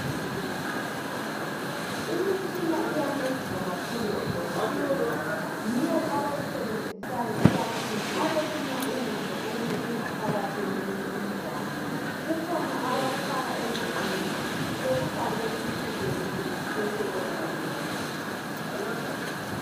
imitshina iyancedisa kakhulu o dokotela yiyo abayisebenzisayo ikakhulu nxa befuna ukuzwa ukuthi ingaphakathi yomuntu injani kukhona abakufaka endlebeni bekufake esifubeni besebelalela